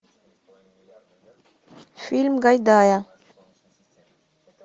фильм гайдая